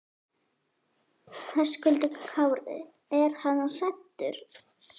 Höskuldur Kári: Er hann hræddur?